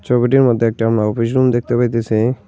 ছবিটির মধ্যে একটা আমি অফিস রুম দেখতে পাইতাছি।